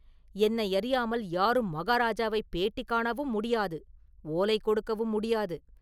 என்னையறியாமல் யாரும் மகாராஜாவைப் பேட்டி காணவும் முடியாது; ஓலை கொடுக்கவும் முடியாது.